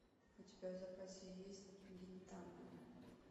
у тебя в запасе есть гинтама